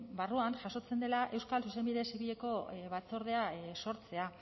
barruan jasotzen dela euskal zuzenbide zibileko batzordea sortzea